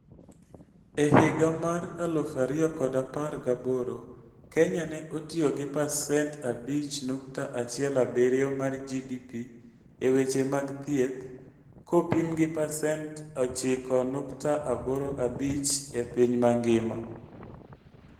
E higa mar 2018, Kenya ne otiyo gi pasent 5.17 mar GDP e weche mag thieth, kopim gi pasent 9.85 e piny mangima.